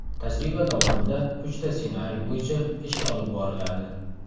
Tajriba davomida uchta ssenariy bo‘yicha ish olib boriladi.